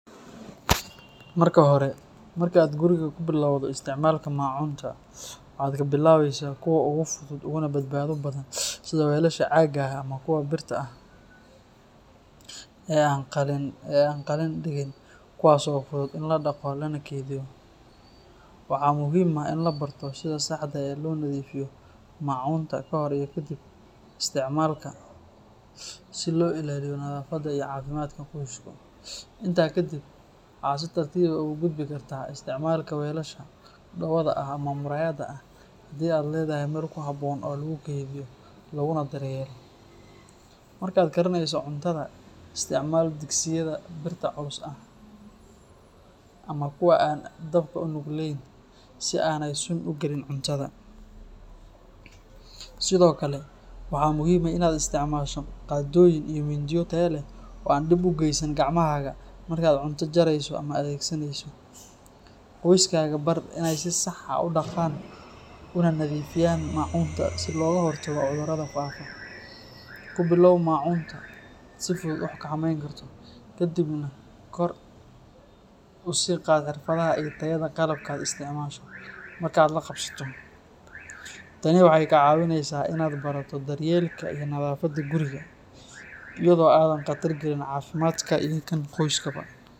Marka hore, marka aad guriga ku bilowdo isticmaalka macunta, waxaad ka bilaabaysaa kuwa ugu fudud uguna badbaado badan sida weelasha caaga ah ama kuwa birta ah ee aan qalin dhigin, kuwaas oo fudud in la dhaqo lana keydiyo. Waxaa muhiim ah in la barto sida saxda ah ee loo nadiifiyo macunta ka hor iyo kadib isticmaalka si loo ilaaliyo nadaafadda iyo caafimaadka qoysku. Intaa kadib, waxaad si tartiib ah ugu gudbi kartaa isticmaalka weelasha dhoobada ah ama muraayadda ah haddii aad leedahay meel ku habboon oo lagu kaydiyo laguna daryeelo. Marka aad karineyso cuntada, isticmaal digsiyada birta culus ah ama kuwa aan dabka u nugleyn, si aanay sun u gelin cuntada. Sidoo kale, waxaa muhiim ah in aad isticmaasho qaadooyin iyo mindiyo tayo leh oo aan dhib u geysan gacmahaaga markaad cuntada jarayso ama adeegsanayso. Qoyskaaga bar in ay si sax ah u dhaqaan una nadiifiyaan macunta si looga hortago cudurrada faafa. Ku bilow macunta aad si fudud u xakameyn karto, ka dibna kor u sii qaad xirfaddaada iyo tayada qalabka aad isticmaasho marka aad la qabsato. Tani waxay kaa caawinaysaa in aad barato daryeelka iyo nadaafadda gurigaaga iyadoo aadan khatar galin caafimaadkaaga iyo kan qoyskaba.